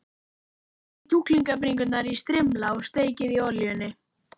Skerið kjúklingabringurnar í strimla og steikið í olíunni.